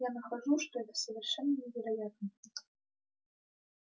я нахожу что это совершенно невероятно